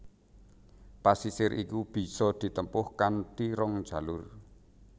Pesisir iki bisa ditempuh kanthi rong jalur